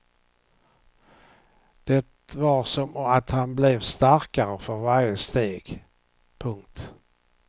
Det var som att han blev starkare för varje steg. punkt